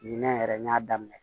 Ɲinɛ yɛrɛ n y'a daminɛ